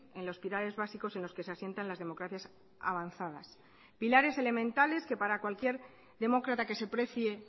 en los pilares básicos en los que se asientan las democracias avanzadas pilares elementales que para cualquier demócrata que se precie